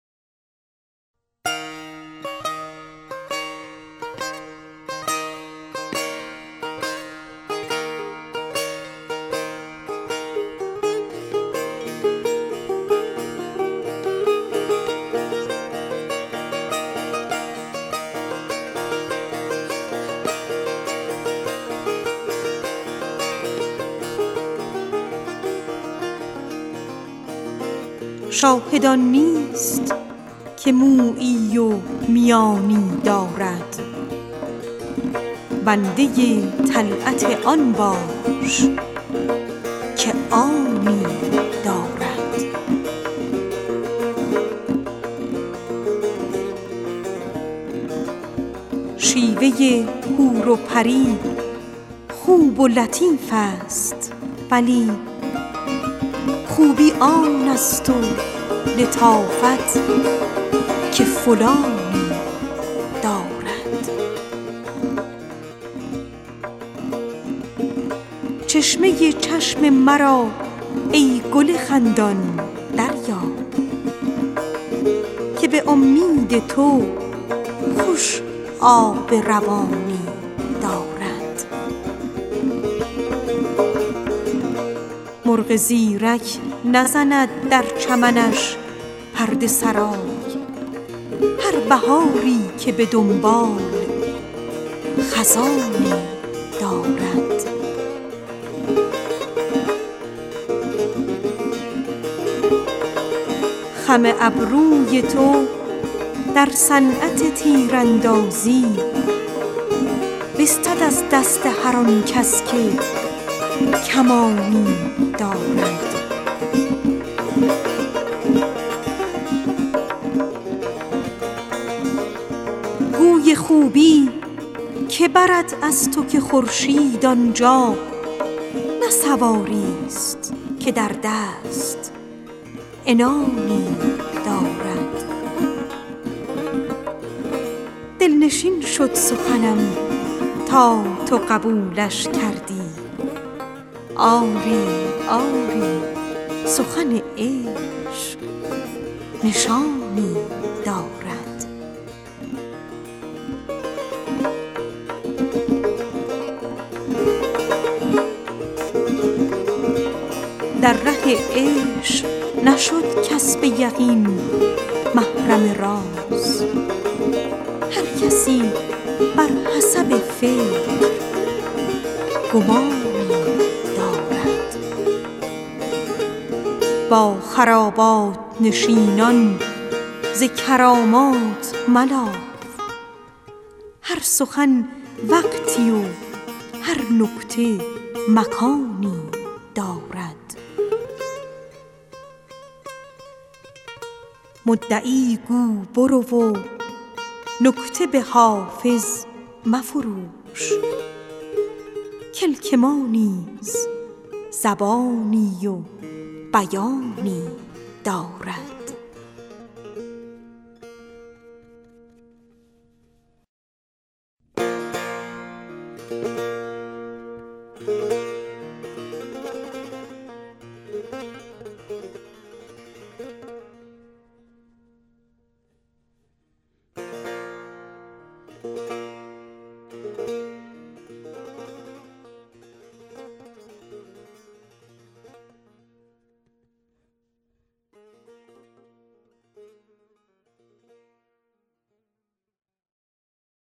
شاهد آن نیست که مویی و میانی دارد بنده طلعت آن باش که آنی دارد شیوه حور و پری گرچه لطیف است ولی خوبی آن است و لطافت که فلانی دارد چشمه چشم مرا ای گل خندان دریاب که به امید تو خوش آب روانی دارد گوی خوبی که برد از تو که خورشید آن جا نه سواریست که در دست عنانی دارد دل نشان شد سخنم تا تو قبولش کردی آری آری سخن عشق نشانی دارد خم ابروی تو در صنعت تیراندازی برده از دست هر آن کس که کمانی دارد در ره عشق نشد کس به یقین محرم راز هر کسی بر حسب فکر گمانی دارد با خرابات نشینان ز کرامات ملاف هر سخن وقتی و هر نکته مکانی دارد مرغ زیرک نزند در چمنش پرده سرای هر بهاری که به دنباله خزانی دارد مدعی گو لغز و نکته به حافظ مفروش کلک ما نیز زبانی و بیانی دارد